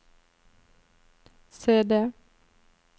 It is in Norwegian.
CD